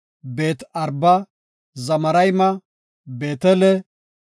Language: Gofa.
Beet-Araba, Zamarayme, Beetele,